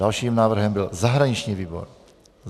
Dalším návrhem byl zahraniční výbor.